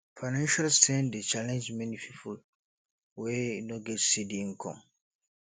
financial strain dey challenge many people wey no get steady income